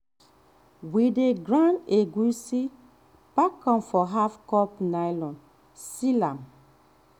we dey grind egusi pack am for half-cup nylon seal am.